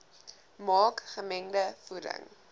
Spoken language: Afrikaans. maak gemengde voeding